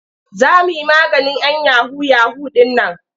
Za mu yi maganin 'yan yahu-yahu ɗin nan.